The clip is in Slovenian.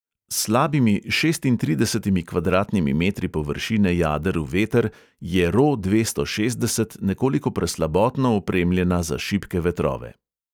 S slabimi šestintridesetimi kvadratnimi metri površine jader v veter je ro dvesto šestdeset nekoliko preslabotno opremljena za šibke vetrove.